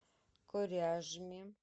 коряжме